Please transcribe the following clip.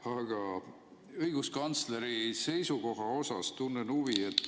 Aga õiguskantsleri seisukoha vastu tunnen huvi.